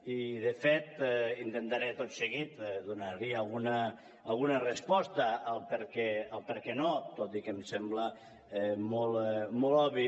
i de fet intentaré tot seguit donar hi alguna resposta al perquè no tot i que em sembla molt obvi